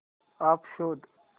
app शोध